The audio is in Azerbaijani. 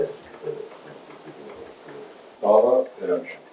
Kim istəyir, Bağa eləmişəm.